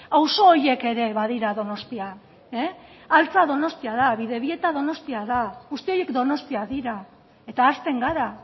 auzo horiek ere badira donostia altza donostia da bidebieta donostia da guzti horiek donostia dira eta ahazten gara